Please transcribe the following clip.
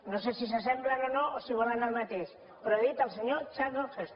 no sé si s’assemblen o no o si volen el mateix però he dit el senyor charlton heston